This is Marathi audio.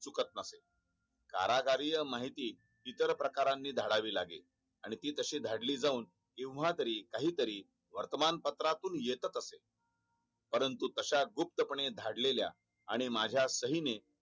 कारागारीय माहितीत इतर प्रकारानी धाडावी लागेल आणि ती तशी धाडली जाऊन केव्हा तरी काहीतरी वर्तमानपत्रातून येतच असे परंतु तश्या गुप्त पणे धाडलेल्या आणि माझा सही ने